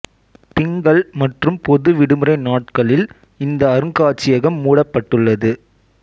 திங்கள் மற்றும் பொது விடுமுறை நாட்களில் இந்த அருங்காட்சியகம் மூடப்பட்டுள்ளது